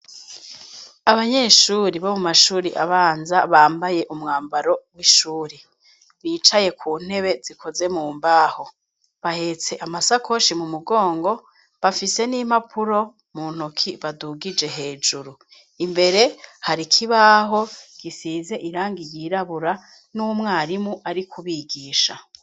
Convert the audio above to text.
Abanyeshure bo mu mashure abanza bambaye umwambaro w'ishure bicaye ku ntebe zikoze mu mbaho ,bahetse amasakoshi mu mugongo bafise n'impapuro mu ntoki badugije hejuru, imbere hari ikibaho gisize irangi ryirabura n'umwarimu ari kubigisha.